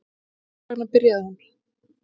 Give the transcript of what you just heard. En hvers vegna byrjaði hún?